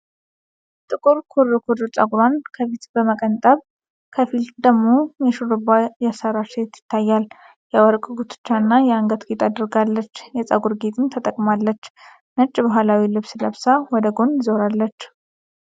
ጥቁር ኩርኩር ፀጉሯን ከፊል በመቀንጠብ፣ ከፊል ደግሞ በሽሩባ ያሠራች ሴት ይታያል። የወርቅ ጉትቻና የአንገት ጌጥ አድርጋለች፤ የፀጉር ጌጥም ተጠቅማለች። ነጭ ባህላዊ ልብስ ለብሳ ወደ ጎን ዞራለች።